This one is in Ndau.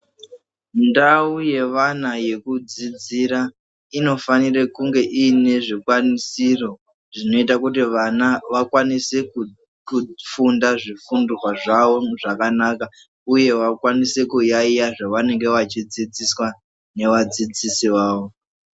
Ndau yevana yekudzidzira unofanira kuva one zvikwanisiro zvinoita kuti vana vakwanise kufunda zvifundwa zvavo zvakanaka uye vakwanise kuyayeya zvavanenge vachdzidziswa nevadzidzisi vavo.